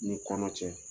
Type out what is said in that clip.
Ni kɔnɔ cɛ